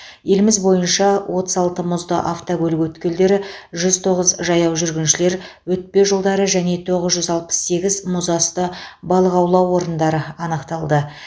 еліміз бойынша отыз алты мұзды автокөлік өткелдері жүз тоғыз жаяу жүргіншілер өтпе жолдары және тоғыз жүз алпыс сегіз мұзасты балық аулау орындары анықталды